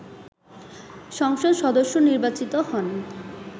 সংসদ সদস্য নির্বাচিত হন